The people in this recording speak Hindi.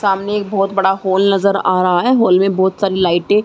सामने एक बोहोत बड़ा हॉल नज़र आ रहा है। हॉल में बोहोत सारी लाइटें --